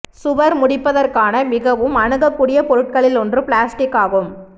சுவர் முடிப்பதற்கான மிகவும் அணுகக்கூடிய பொருட்களில் ஒன்று பிளாஸ்டிக் ஆகும்